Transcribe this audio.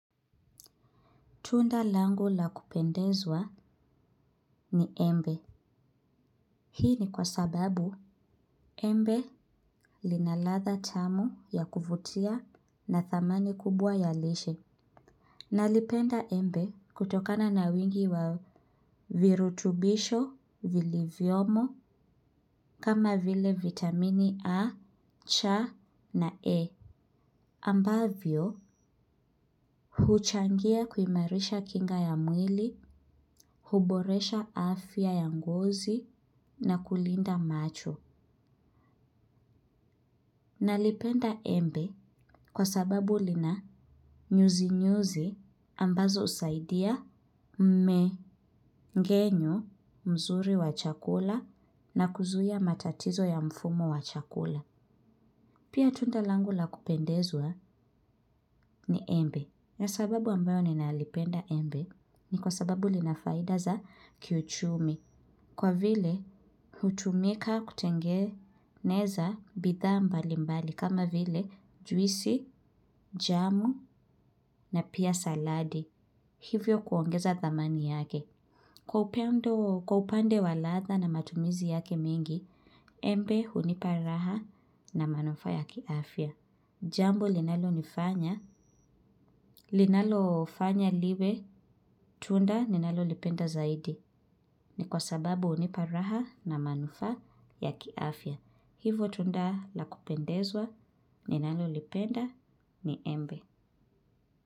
Tunda langu la kupendezwa ni embe. Hii ni kwa sababu embe lina ladha tamu ya kuvutia na thamani kubwa ya lishe. Nalipenda embe kutokana na wingi wa virutubisho vilivyomo kama vile vitamini A, cha na E. Ambavyo huchangia kuimarisha kinga ya mwili, huboresha afya ya ngozi na kulinda macho. Nalipenda embe kwa sababu lina nyuzi nyuzi ambazo husaidia mmengenyo mzuri wa chakula na kuzuia matatizo ya mfumo wa chakula. Pia tunda langu la kupendezwa ni embe. Na sababu ambayo ninalipenda embe ni kwa sababu lina faida za kiuchumi. Kwa vile hutumika kutengeneza bidhaa mbali mbali kama vile juisi, jamu na pia saladi. Hivyo kuongeza dhamani yake. Kwa upande wa ladha na matumizi yake mingi, embe hunipa raha na manufaa ya kiafya. Jambo linalonifanya, linalofanya liwe, tunda ninalolipenda zaidi. Ni kwa sababu hunipa raha na manufaa ya kiafya. Hivo tunda la kupendezwa, ninalolipenda, ni embe.